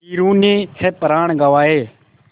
वीरों ने है प्राण गँवाए